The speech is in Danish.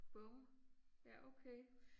Bum ja okay